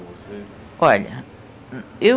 com você? Olha, eu